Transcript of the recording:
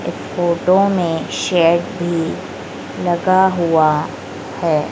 Photo में भी लगा हुआ है।